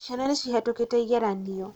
ciana nicihĩtũkĩte ĩgeranio